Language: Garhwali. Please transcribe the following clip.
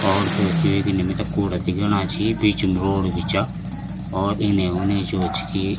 और जो च इन्ने मिथे कूडा दिखेणा छी बीच म रोड भी चा और इने उने जो च की --